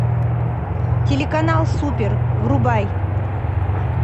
телеканал супер врубай